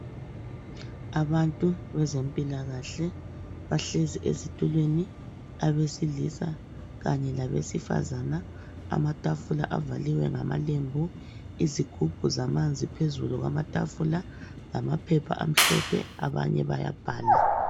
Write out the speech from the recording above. Abantu bezempilakahle bahlezi ezitulweni abesilisa kanye labesifazana amatafula avaliwe ngamalembu izigubhu zamanzi phezulu kwamatafula kanye lamaphepha abanye bayabhala.